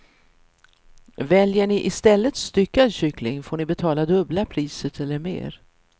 Väljer ni i stället styckad kyckling får ni betala dubbla priset eller mer.